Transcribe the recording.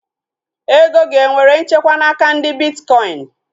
Ego gị enwere nchekwa n'aka ndị bitkọin?